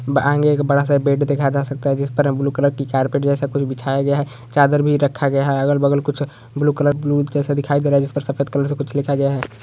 बड़ा सा बेड दिखाय दे सकता हे जिसपे ब्लू कलर की कारपेट जेसा कुछ बिछाया गया हे चादर भी रखा गया हे अगल बगल कुछ ब्लू कलर ब्लू जैसे दिखाय दे रहा हे जिसपे सफ़ेद कलर से कुछ दिखे कुछ लिखा गया हे।